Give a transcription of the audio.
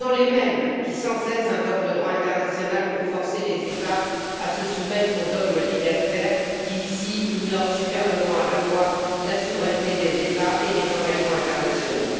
Ce sont les mêmes qui sans cesse invoquent le droit international pour forcer les États à se soumettre au dogme libertaire qui, ici, ignore superbement, à la fois la souveraineté des États et les engagements internationaux.